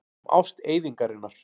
Um ást eyðingarinnar.